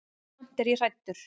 Samt er ég hræddur.